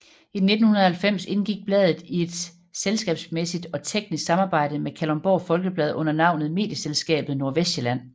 I 1990 indgik bladet i et selskabsmæssigt og teknisk samarbejde med Kalundborg Folkeblad under navnet Medieselskabet Nordvestsjælland